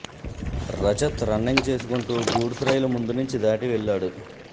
Rajat running చేసుకుంటూ goods రైలు ముందు నుంచి దాటి వెళ్లాడు